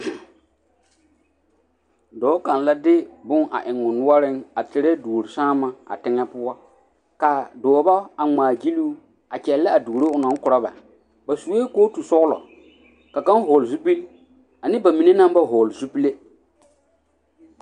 Dɔɔ kaŋ la de bonne eŋ o noɔreŋ a terɛ duosaama a teŋɛ poɔ ka dɔba a ŋmaagyili o a kyɛllɛ a duoro o naŋ korɔ ba ba sue kootusɔglɔ ka kaŋ vɔgle zupili ane ba mine naŋ ba vɔgle zupile.